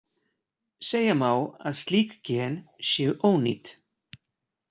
Segja má að slík gen séu ónýt.